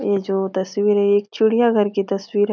ये जो तस्वीर है ये एक चिड़िया घर की तस्वीर है।